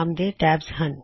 ਨਾਮ ਦੇ ਟੈਬਜ਼ ਹਨ